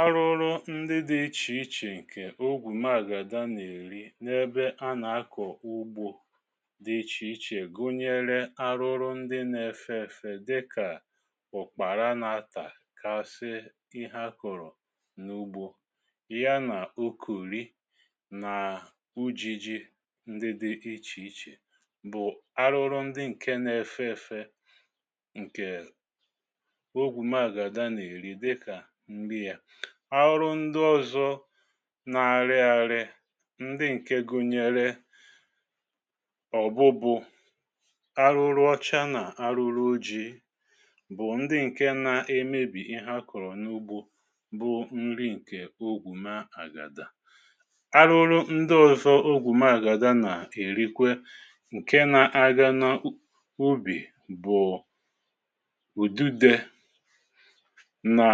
Árụrụ ndị dị̇ ichè ichè ǹkè ogwù magadȧ nà-èri n’ebe anà-akọ̀ ugbȯ dị ichè ichè gụnyere arụrụ ndị na-efe èfe dịkà ụkpàra na atà-kasi ihé akọrọ n’ugbȯ yá nà okori nà ujìjì ndị dị̇ ichè ichè bụ̀ arụrụ ndị ǹke na-efe èfe ǹkè ogwu magàdaa nà èri dịka nri yȧ. Arụrụ ndị ọzọ na-arị ȧrị̇ ndị ǹke gụnyere ọ̀bụbụ̀, arụrụ ọcha nà-àrụ́rụ́ ojii bụ̀ ndị ǹke na-emebì ihé a kọ̀rọ̀ n’ugbȯ bụ nri ǹkè ogwù magàda. Árụrụ ndị ọzọ ogwù magàda nà-èrikwe ǹke nȧ-ȧgȧ n’ubì bụ̀ ụ̀dide na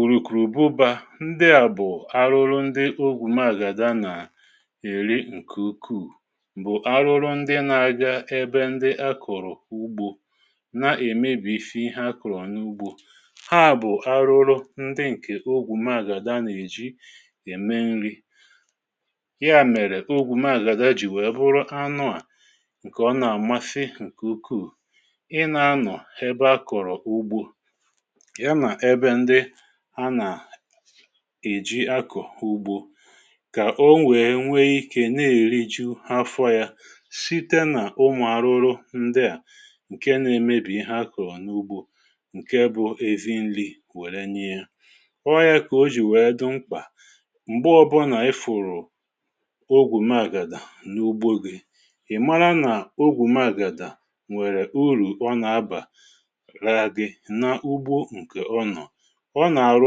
ùrùkùrù ụbụbà. Ndị à bụ̀ arụrụ ndị ogwù maàgàda nà-èri ǹkè ukuù bụ̀ arụrụ ndị nȧ-ȧgȧ ebe ndị a kọ̀rọ̀ ugbȯ na-èmesi ihé a kọ̀rọ̀ n’ugbȯ ha bụ̀ arụrụ ndị ǹkè ogwụ̀ maàgàda nà-èji ème nri ya mèrè, ogwụ̀ maàgàda jì wèe bụrụ anụà ǹkè ọ nà-àmasị ǹkè ukuù ị nȧ-anọ̀ ebe a kọ̀rọ̀ ugbȯ yá nà ébé ndị anà-èji akọ̀ ugbȯ kà o nwèe nwé ikė na-èriju̇ afọ yȧ site nà ụmụ̀ arụrụ ndịà ǹke na-emebì ihé a kọ̀rọ̀ n’ugbȯ ǹke bụ̇ ezi nri̇ wère ṅyie. Ọ ya kà o jì wèe dụ mkpà m̀gbe ọbụna ị fụ̀rụ̀ ogwù magàdà n’ugbȯ gị, ị̀ mara nà ogwù magàdà nwèrè urù ọ na-abà ra gị̇ nà ugbo nkè ọnọ. Ọ nà-àrụ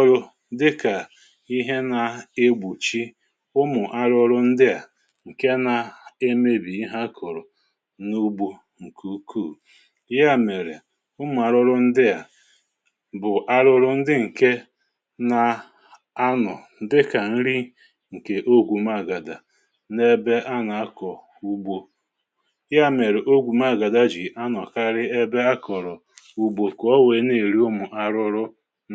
ọrụ dịkà ihé na-egbochi ụmụ̀ arụrụ ndịà ǹkè na-emebì ihé a kọ̀rọ̀ n’ugbo ǹkè ukuù. Yá mèrè, ụmụ̀ àrụrụ ndịà bụ̀ arụrụ ndị ǹke na anọ̀ dịkà nri ǹkè ogwu maàgàda n’ebe a nà-akọ̀ ugbȯ, yá mèrè ogwu maàgàda jì anọ̀ karịa ebe a kọ̀rọ̀ ùgbò kà o wèe na-èri ụmụ̀ arụrụ m.